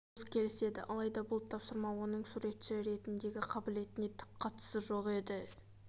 хулс келіседі алайда бұл тапсырма оның суретші ретіндегі қабілетіне түк қатысы жоқ еді